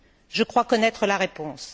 Je crois connaître la réponse.